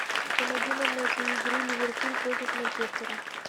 помоги нам найти игру ливерпуль против манчестера